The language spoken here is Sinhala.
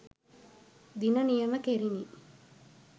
දින නියම කෙරිණි